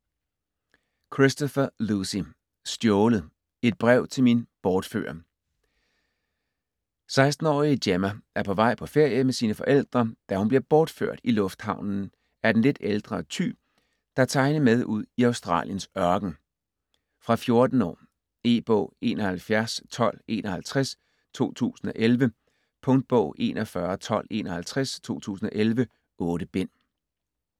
Christopher, Lucy: Stjålet: et brev til min bortfører 16 årige Gemma er på vej på ferie med sine forældre, da hun bliver bortført i lufthavnen af den lidt ældre Ty, der tager hende med ud i Australiens ørken. Fra 14 år. E-bog 711251 2011. Punktbog 411251 2011. 8 bind.